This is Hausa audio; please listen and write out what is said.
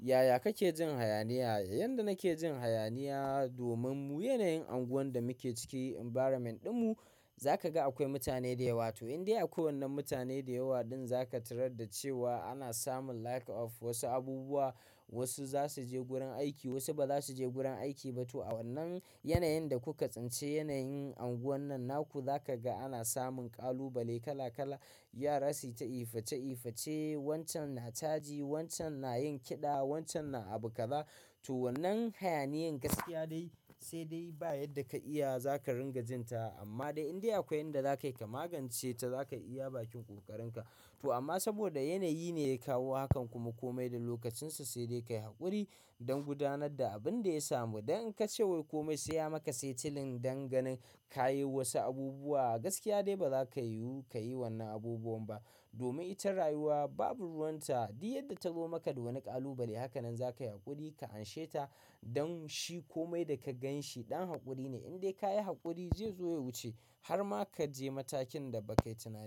Yaya kake jin hayaniya? Yanda nake jin hayaniya domin mu yanayin anguwan da muke ciki environment ɗinmu, zaka ga akwai mutane da yawa to in dai akwai wannan mutane da yawa, ɗin za ka tarar da cewa ana samun lack of wasu abubuwa, wasu za su je gurin aiki, wasu ba za su je gurin aiki ba to a wannan yanayin da kuka tsinci yanayin anguwan nan na ku za ka ga ana samun ƙalubale kala kala. Yara su yi ta ifa-che ifa-che, wancan na caji, wancan na yin kiɗa, wancan na abu kaza. To wannan hayaniyan gaskiya dai sai dai ba yadda ka iya za ka ringa jin ta amma dai in dai akwai inda za ka magance ta za ka iya bakin ƙoƙarinka. To amma saboda yanayi ne ya kawo hakan kuma komai da lokacin sa sai dai ka yi haƙuri don gudanar da abin da ya samu. Dan in ka ce wai komai saya maka setilen don ganin ka yi wasu abubuwa, gaskiya dai ba za ka yiwu ka yi wannan abubuwan ba. Domin ita rayuwa babu ruwan ta, duk yadda ta zo maka da wani ƙalubale hakanan za ka yi haƙuri ka anshe ta don shi komai da ka ganshi ɗan haƙuri ne. In dai ka yi haƙuri zai zo ya wuce har ma ka je matakin da ba kai tunani.